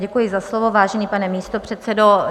Děkuji za slovo, vážený pane místopředsedo.